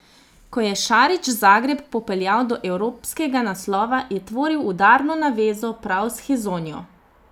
Ko je Šarić Zagreb popeljal do evropskega naslova je tvoril udarno navezo prav s Hezonjo.